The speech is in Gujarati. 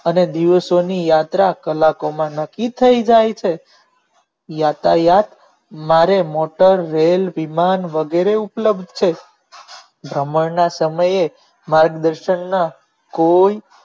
અને દિવસો ની યાત્રા કલાકો માં નક્કી થઇ જાય છે યાતાયાત મારે મોટર રેલ વિમાન વગેરે ઉપલબ્ધ છે ભ્રમણ ના સમયે માર્ગદર્શોનો કોઈ